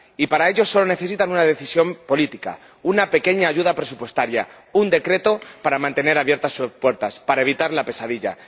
Y para impedirlo, solo necesitan una decisión política, una pequeña ayuda presupuestaria, un decreto para mantener abiertas sus puertas, para evitar la pesadilla.